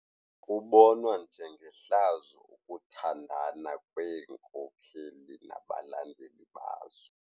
Kubonwa njengehlazo ukuthandana kweenkokeli nabalandeli bazo.